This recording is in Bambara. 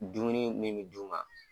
Dumuni min bi d'u ma